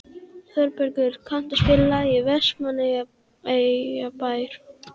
Þorbergur, kanntu að spila lagið „Vestmannaeyjabær“?